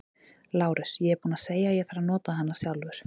LÁRUS: Ég er búinn að segja að ég þarf að nota hana sjálfur.